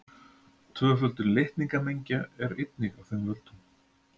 Tvöföldun litningamengja er einnig af þeim völdum.